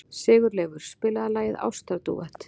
Sigurleifur, spilaðu lagið „Ástardúett“.